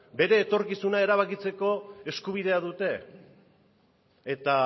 bere etorkizuna erabakitzeko eskubidea dute eta